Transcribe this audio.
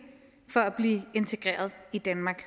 for at blive integreret i danmark